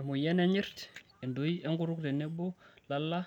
Emoyian enyirt, entoi enkutuk tenebo lala